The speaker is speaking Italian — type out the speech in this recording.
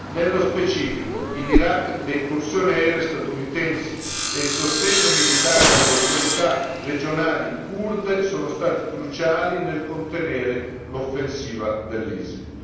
Nello specifico, in Iraq le incursioni aeree statunitensi e il sostegno militare alle autorità regionali curde sono stati cruciali nel contenere l'offensiva dell'ISIL.